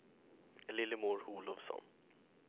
Lillemor Olovsson